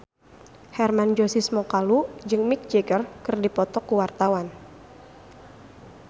Hermann Josis Mokalu jeung Mick Jagger keur dipoto ku wartawan